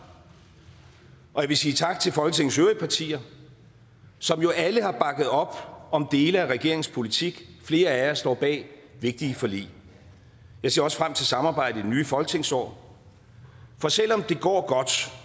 og vil sige tak til folketingets øvrige partier som jo alle har bakket op om dele af regeringens politik flere af jer står bag vigtige forlig jeg ser også frem til samarbejdet i det nye folketingsår for selv om det går godt